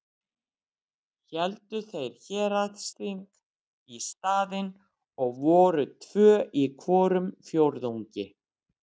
Héldu þeir héraðsþing í staðinn og voru tvö í hvorum fjórðungi.